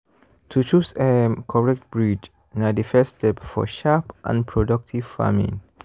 to choose um correct breed na the first step for sharp and productive farming.